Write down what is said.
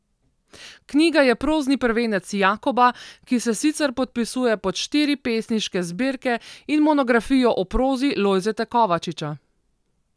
Knjiga je prozni prvenec Jakoba, ki se sicer podpisuje pod štiri pesniške zbirke in monografijo o prozi Lojzeta Kovačiča.